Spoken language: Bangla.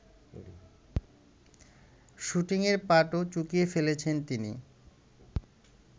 শুটিংয়ের পাটও চুকিয়ে ফেলেছেন তিনি